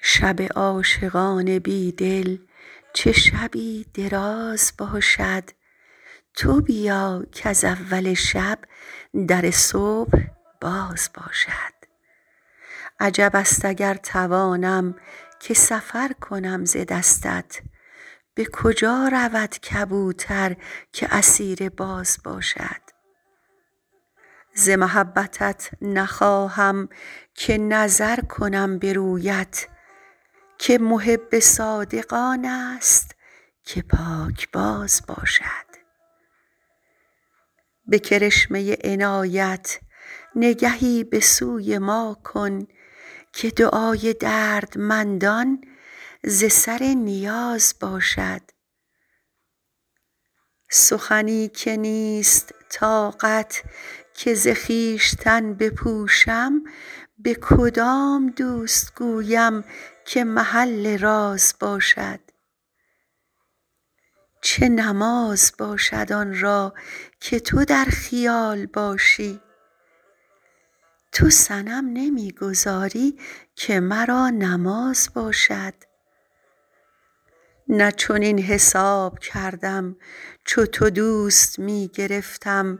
شب عاشقان بی دل چه شبی دراز باشد تو بیا کز اول شب در صبح باز باشد عجب است اگر توانم که سفر کنم ز دستت به کجا رود کبوتر که اسیر باز باشد ز محبتت نخواهم که نظر کنم به رویت که محب صادق آن است که پاکباز باشد به کرشمه عنایت نگهی به سوی ما کن که دعای دردمندان ز سر نیاز باشد سخنی که نیست طاقت که ز خویشتن بپوشم به کدام دوست گویم که محل راز باشد چه نماز باشد آن را که تو در خیال باشی تو صنم نمی گذاری که مرا نماز باشد نه چنین حساب کردم چو تو دوست می گرفتم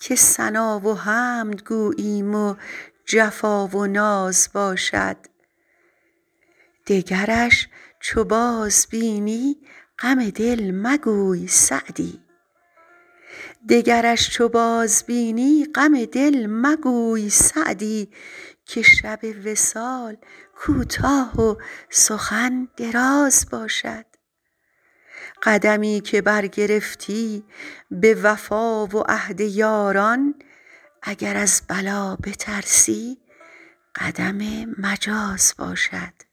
که ثنا و حمد گوییم و جفا و ناز باشد دگرش چو بازبینی غم دل مگوی سعدی که شب وصال کوتاه و سخن دراز باشد قدمی که برگرفتی به وفا و عهد یاران اگر از بلا بترسی قدم مجاز باشد